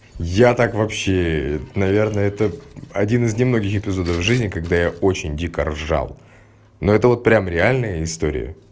я так вообще наверное это один из немногих эпизодов жизни когда я очень дико ржал но это вот прям реальные истории